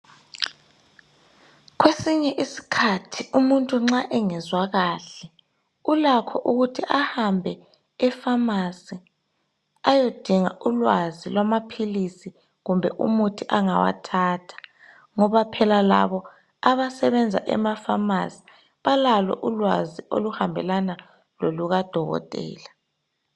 Kwesinye iskhathi umuntu nxa engezwa kahle ulakho ukuthi ahambe efamasi ayedinga ulwazi lwamaphilisi kumbe umuthi angawathatha. Ngoba phela labo abasebenza emafamasi balalo ulwazi oluhambelana lolukadokotela.